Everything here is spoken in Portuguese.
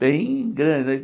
Bem grande, né?